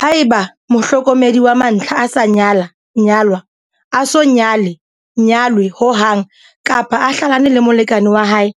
Haeba mohlokomedi wa mantlha a sa nyala-nyalwa a so nyale-nyalwe ho hang, kapa a hlalane le molekane wa hae